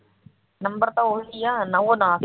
number ਤਾਂ ਉਹੀ ਨਾ ਸਹੀ